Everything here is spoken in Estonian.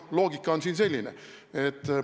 Loogika on siin selline.